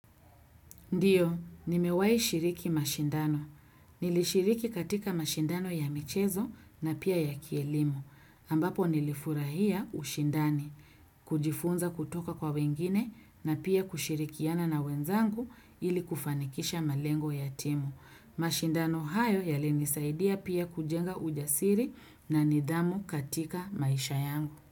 Ndio, nimewahi shiriki mashindano. Nilishiriki katika mashindano ya michezo na pia ya kielimu. Ambapo nilifurahia ushindani, kujifunza kutoka kwa wengine na pia kushirikiana na wenzangu ili kufanikisha malengo ya timu. Mashindano hayo yalinisaidia pia kujenga ujasiri na nidhamu katika maisha yangu.